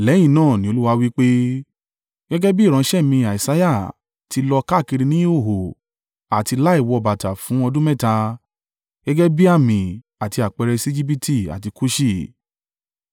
Lẹ́yìn náà ni Olúwa wí pé, “Gẹ́gẹ́ bí ìránṣẹ́ mi Isaiah ti lọ káàkiri ní ìhòhò àti láì wọ bàtà fún ọdún mẹ́ta, gẹ́gẹ́ bí àmì àti àpẹẹrẹ sí Ejibiti àti Kuṣi,